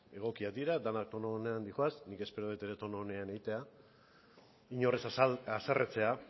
egokiak dira denak tonu onean doaz nik espero dut ere tonu onean egitea inor ez haserretzea